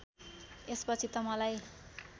यसपछि त मलाई